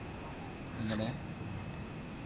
എങ്ങനെ